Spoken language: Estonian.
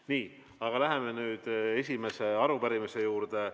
Nii, läheme nüüd esimese küsimuse juurde.